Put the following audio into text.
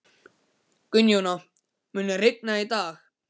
Gunnjóna, mun rigna í dag?